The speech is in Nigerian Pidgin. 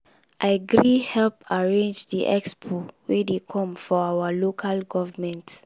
i gree help arrange the expo wey dey come for our local government.